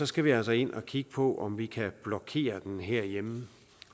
skal vi altså ind at kigge på om vi kan blokere den herhjemme